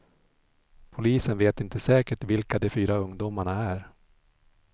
Polisen vet inte säkert vilka de fyra ungdomarna är.